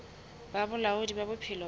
ba bolaodi ba bophelo bo